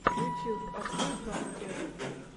ютьюб открой хан экэдеми